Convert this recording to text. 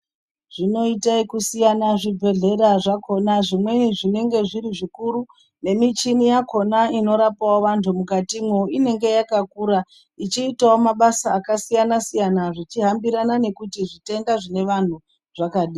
Zvinoite ekusiyana zvibhedhlera zvakhona. Zvimweni zvinenge zviri zvikuru, nemichini yakhona inorape vantu mukatimwo inenge yakakura, ichiitawo mabasa akasiyana-siyana zvichihambirana nekuti zvitenda zvinevantu zvakadini.